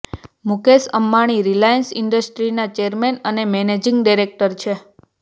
મુકેશ અંબાણી રિલાયન્સ ઇન્ડસ્ટ્રીના ચેરમેન અને managing director છે